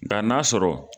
Nga n'a sɔrɔ